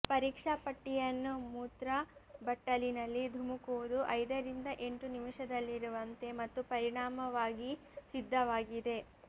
ಪರೀಕ್ಷಾ ಪಟ್ಟಿಯನ್ನು ಮೂತ್ರ ಬಟ್ಟಲಿನಲ್ಲಿ ಧುಮುಕುವುದು ಐದರಿಂದ ಎಂಟು ನಿಮಿಷದಲ್ಲಿರುವಂತೆ ಮತ್ತು ಪರಿಣಾಮವಾಗಿ ಸಿದ್ಧವಾಗಿದೆ